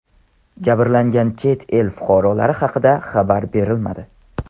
Jabrlangan chet el fuqarolari haqida xabar berilmadi.